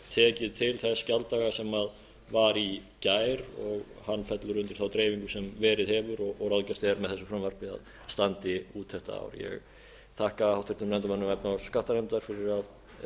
tekið til þess gjalddaga sem var í gær og hann fellur undir þá dreifingu sem verið hefur og ráðgert er með þessu frumvarpi að standi út þetta ár ég þakka háttvirtum þingmönnum efnahags og skattanefndar fyrir að